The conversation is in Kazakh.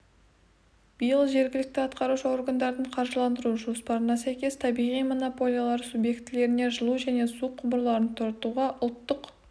-биыл жергілікті атқарушы органдардың қаржыландыру жоспарына сәйкес табиғи монополиялар субъектілеріне жылу және су құбырларын тартуға ұлттық